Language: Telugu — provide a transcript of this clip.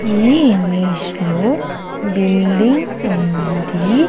ఈ ఇమేజ్ లో బిల్డింగ్ ఉంది.